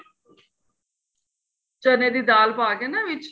ਚੰਨੇ ਦੀ ਦਾਲ ਪਾਕੇ ਨਾ ਵਿੱਚ